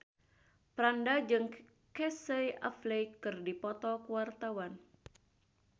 Franda jeung Casey Affleck keur dipoto ku wartawan